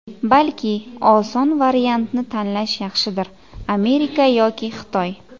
Balki, oson variantni tanlash yaxshidir Amerika yoki Xitoy?